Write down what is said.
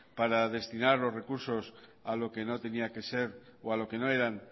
para destinar los recursos a lo que no tenía que ser o a lo que no eran